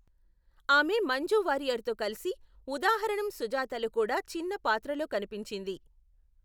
ఆమె మంజు వారియర్తో కలిసి ఉదాహరణం సుజాతలో కూడా చిన్న పాత్రలో కనిపించింది.